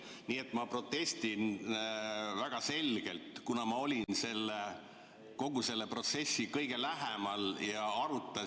Nii et ma protestin väga selgelt, kuna ma olin kogu sellele protsessile kõige lähemal ja arutasime ....